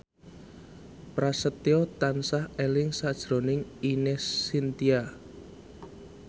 Prasetyo tansah eling sakjroning Ine Shintya